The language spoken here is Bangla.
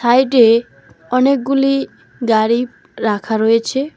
সাইডে অনেকগুলি গাড়ি রাখা রয়েছে।